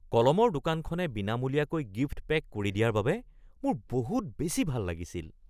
কলমৰ দোকানখনে বিনামূলীয়াকৈ গিফ্ট পেক কৰি দিয়াৰ বাবে মোৰ বহুত বেছি ভাল লাগিছিল।